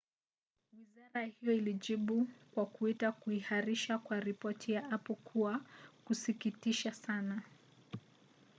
wizara hiyo ilijibu kwa kuita kuhairishwa kwa ripoti na apple kuwa kwa kusikitisha sana.